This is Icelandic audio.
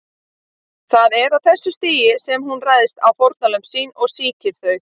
Það er á þessu stigi sem hún ræðst á fórnarlömb sín og sýkir þau.